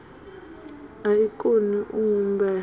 a i koni u humbelwa